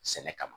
Sɛnɛ kama